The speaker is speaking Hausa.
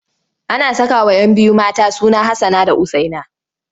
Ana sakawa 'yan biyu mata suna Hassana da Usaina.